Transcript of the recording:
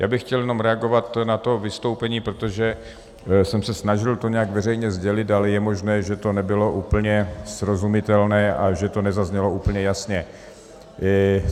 Já bych chtěl jenom reagovat na to vystoupení, protože jsem se snažil to nějak veřejně sdělit, ale je možné, že to nebylo úplně srozumitelné a že to nezaznělo úplně jasně.